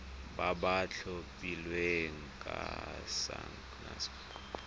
ba ba tlhophilweng ke sacnasp